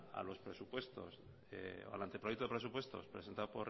a los presupuestos o al anteproyecto de presupuestos presentado